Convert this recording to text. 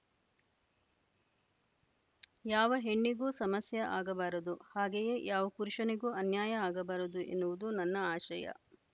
ಯಾವ ಹೆಣ್ಣಿಗೂ ಸಮಸ್ಯೆ ಆಗಬಾರದು ಹಾಗೆಯೇ ಯಾವ ಪುರುಷನಿಗೂ ಅನ್ಯಾಯ ಆಗಬಾರದು ಎನ್ನುವುದು ನನ್ನ ಆಶಯ